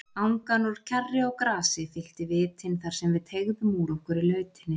Angan úr kjarri og grasi fyllti vitin þarsem við teygðum úr okkur í lautinni.